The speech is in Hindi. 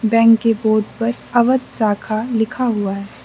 बैंक के बोर्ड पर अवध शाखा लिखा हुआ है।